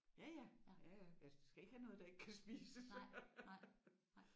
Ja ja. Ja ja jeg skal ikke have noget der ikke kan spises